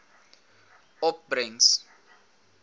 opbrengs